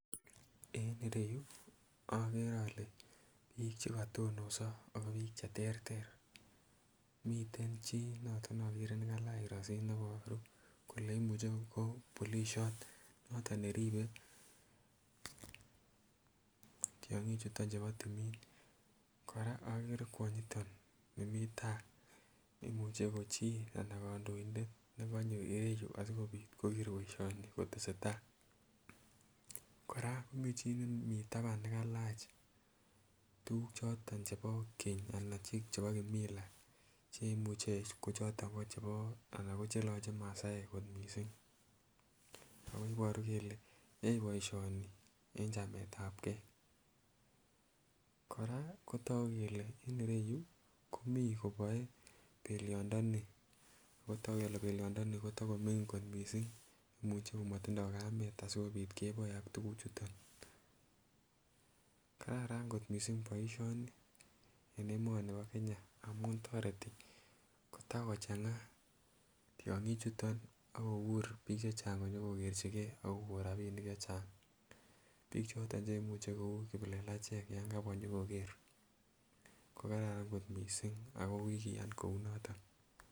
En ireyuu okere ole bik chekotonoso ako bik cheterter, miten chii noti ne okere nekailach koroisit neboru kole imuche ko polishot noton neribe tyonkik chuton chebo tumin. Koraa okere kwonyoton nimii tai, imuche ko chii anan kondoindet nekonyo ireyuu sikopit koker boishoni kotestai. Koraa komiten chi nemii taban nekailach tukuk choton chebo keny anan chebo kimila che imuche kochoton ko chebo ana ko cheloche masaek kot missing, ako iboru kele yoe boishoni en chametabgee. Koraa ko toku kele en ireyuu komii koboe beliondoni ako toku kele beliondoni kotokomingin kot missing imuche komotindo kamet asikopit keboe ak tukuk chuton , kararan kot missing boishoni en emoni bo Kenya amun toreti kotakochanga tyonkik chuton ak kokur bik chechang konyokokerchigee ak kokon rabinik chechang. Bik choton cheimuche kou kiplelachek yon kabwa nyokokere ko Karan kot missing ako kikiyan kou noton.